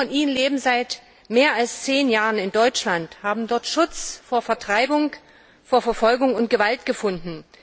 Viele von ihnen leben seit mehr als 10 Jahren in Deutschland, haben dort Schutz vor Vertreibung, Verfolgung und Gewalt gefunden.